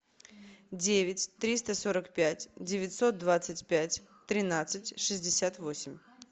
девять триста сорок пять девятьсот двадцать пять тринадцать шестьдесят восемь